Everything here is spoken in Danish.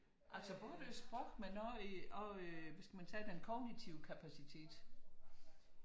Altså både med sprog men også hvad skal man tage den kognitive kapacitet